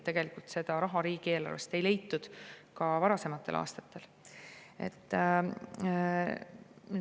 Tegelikult seda raha riigieelarvest ei leitud ka varasematel aastatel.